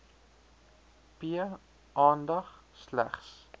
p aandag slegs